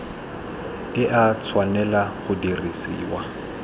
e a tshwanela go dirisiwa